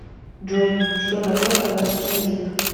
джой что такое казахский язык